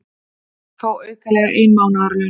Fá aukalega ein mánaðarlaun